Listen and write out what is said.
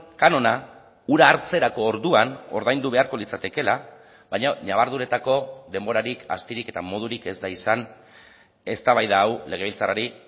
kanona ura hartzerako orduan ordaindu beharko litzatekeela baina ñabarduretako denborarik astirik eta modurik ez da izan eztabaida hau legebiltzarrari